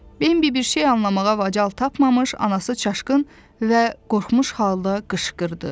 Bembi bir şey anlamağa macal tapmamış, anası çaşqın və qorxmuş halda qışqırdı.